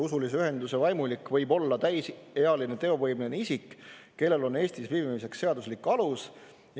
Usulise ühenduse vaimulik võib olla täisealine teovõimeline isik, kellel on Eestis viibimiseks seaduslik alus.